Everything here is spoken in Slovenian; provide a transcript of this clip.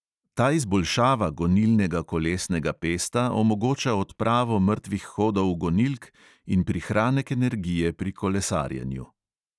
Ta izboljšava gonilnega kolesnega pesta omogoča odpravo mrtvih hodov gonilk in prihranek energije pri kolesarjenju.